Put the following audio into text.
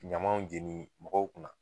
Ɲamaw jeni mɔgɔw kun na.